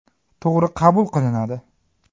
To‘g‘ri qabul qilinadi.